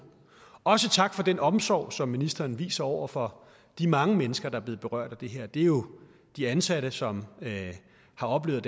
også tak for den omsorg som ministeren viser over for de mange mennesker der er blevet berørt af det her det er jo de ansatte som har oplevet